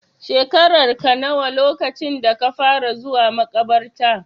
Shekararka nawa lokacin da ka fara zuwa maƙabarta?